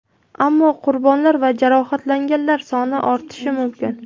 Ammo qurbonlar va jarohatlanganlar soni ortishi mumkin.